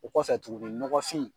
O kɔfɛ tuguni ɲɔgɔfin.